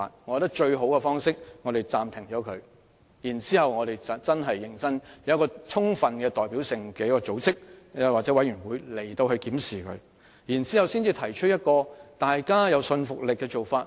我認為最好的方法是擱置 TSA， 再成立具充分代表性的組織或委員會，在認真進行檢視後才提出具說服力的做法。